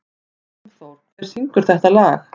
Hjálmþór, hver syngur þetta lag?